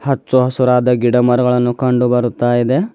ಹಚ್ಚು ಹಸಿರಾದ ಗಿಡ ಮರಗಳನ್ನು ಕಂಡು ಬರುತಾಇದೆ.